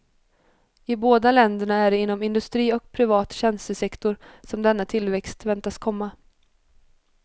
I båda länderna är det inom industri och privat tjänstesektor som denna tillväxt väntas komma.